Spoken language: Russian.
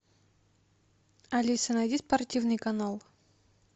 алиса найди спортивный канал